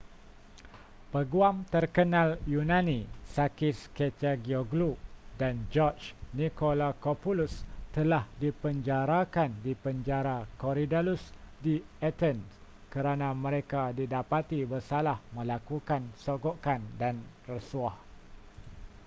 peguam terkenal yunani sakis kechagioglou dan george nikolakopoulos telah dipenjarakan di penjara korydallus di athen kerana mereka didapati bersalah melakukan sogokan dan rasuah